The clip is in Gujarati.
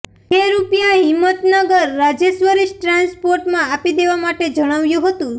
જે રૂપિયા હિંમતનગર રાજેશ્વરી ટ્રાન્સપોર્ટમાં આપી દેવા માટે જણાવ્યું હતું